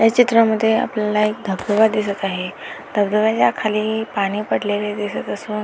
या चित्रा मध्ये आपल्याला एक धबधबा दिसत आहे धबधब्याचा खाली पाणी पडलेले दिसत असून--